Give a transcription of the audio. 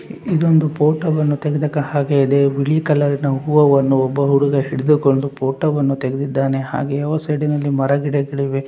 ಇದೊಂದು ಫೋಟೋವನ್ನು ತೆಗೆದ ಕ ಹಾಗೆ ಇದೆ ಬಿಳಿ ಕಲರ್ ನ ಹೂವುವನ್ನು ಒಬ್ಬ ಹುಡುಗ ಹಿಡಿದುಕೊಂಡು ಫೋಟೋವನ್ನು ತೆಗೆದಿದ್ದಾನೆ ಹಾಗೆ ಅವ ಸೈಡಿನಲ್ಲಿ ಮರಗಿಡಗಳಿವೆ.